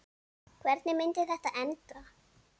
Hvernig myndi þetta enda?